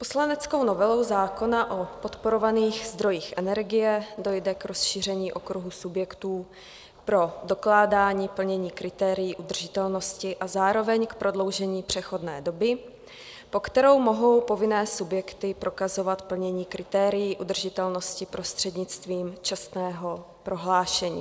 Poslaneckou novelou zákona o podporovaných zdrojích energie dojde k rozšíření okruhu subjektů pro dokládání plnění kritérií udržitelnosti a zároveň k prodloužení přechodné doby, po kterou mohou povinné subjekty prokazovat plnění kritérií udržitelnosti prostřednictvím čestného prohlášení.